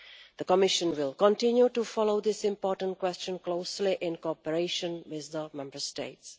The Commission will continue to follow this important question closely in cooperation with our Member States.